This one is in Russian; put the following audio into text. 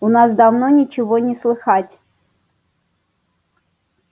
у нас давно ничего не слыхать